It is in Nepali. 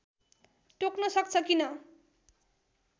टोक्न सक्छ किन